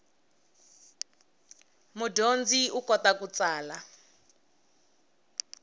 mudyondzi u kota ku tsala